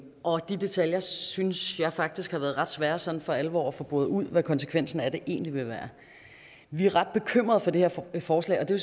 og de detaljer synes jeg faktisk har været ret svære sådan for alvor at få boret ud hvad konsekvensen af det egentlig vil være vi er ret bekymrede for det her forslag og det